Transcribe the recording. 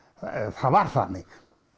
það var þannig